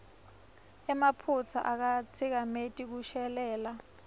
emaphutsa akatsikameti kushelela